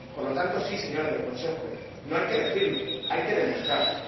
Por lo tanto, sí, señores del Consejo, no hay que decirlo, hay que demostrarlo.